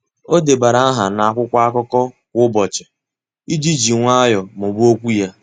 Ọ́ débara áhà n’ákwụ́kwọ́ ákụ́kọ́ kwa ụ́bọ̀chị̀ iji jì nwayọ́ọ́ mụ́ba okwu ya.